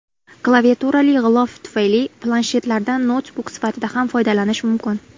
Klaviaturali g‘ilof tufayli planshetlardan noutbuk sifatida ham foydalanish mumkin.